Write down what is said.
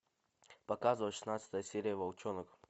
показывай шестнадцатая серия волчонок